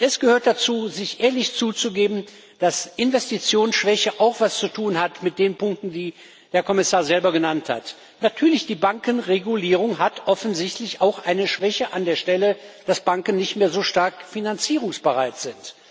Und es gehört dazu, sich ehrlich einzugestehen, dass Investitionsschwäche auch etwas zu tun hat mit den Punkten, die der Kommissar selber genannt hat. Natürlich, die Bankenregulierung hat offensichtlich auch eine Schwäche an der Stelle, dass Banken nicht mehr so stark finanzierungsbereit sind.